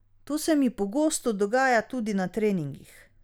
To se mi pogosto dogaja tudi na treningih.